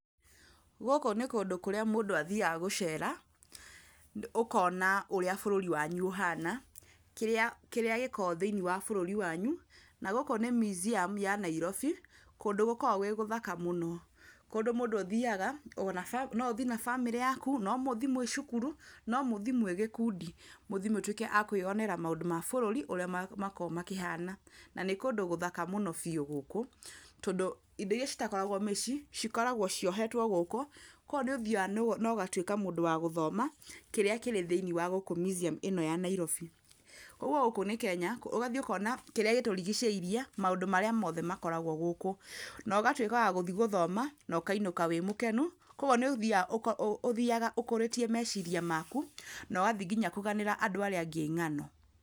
Gũkũ nĩ kũndũ kũrĩa mũndũ athiaga gũcera, okona ũrĩa bũrũri wanyu ũhana, kĩrĩa gĩkoragwo thĩiniĩ wa bũrũri wanyu. Na gũkũ nĩ museum ya Nairobi, kũndũ gũkoragwo gwĩ gũthaka mũno. Kũndũ mũndũ ũthiaga, no ũthi na bamĩrĩ yaku, no mũthi mwĩ cukuru, no mũthi mwĩ gĩkundi, mũthi mũtwĩke a kwĩyonera maũndũ ma bũrũri ũrĩa makoragwo makĩhana. Na nĩ kũndũ gũthaka mũno biũ gũkũ tondũ indo irĩa citakoragwo mĩcii cikoragwo ciohetwo gũkũ. Koguo nĩ ũthiaga na ũgatuĩka wa gũthoma kĩrĩa kĩrĩ thĩiniĩ wa gũkũ museum ĩno ĩĩ gũkũ Nairobi. Koguo gũkũ nĩ Kenya, ũgathiĩ ũkona kĩrĩa gĩtũrigicĩirie, maũndũ marĩa mothe makoragwo gũkũ. Na ũgatuĩka wa gũthiĩ gũthoma na ũkainũka wĩ mũkenu. Koguo nĩ ũthiaga ũkũrĩtie meciria maku na ũgathiĩ nginya kũganĩra andũ arĩa angĩ ng'ano.